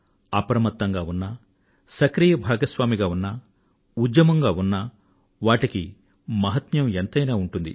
అప్రమత్తంగా ఉన్నా సక్రియ భాగస్వామిగా ఉన్నా ఉద్యమంగా ఉన్నా వాటికి మహత్యం ఎంతైనా ఉంటుంది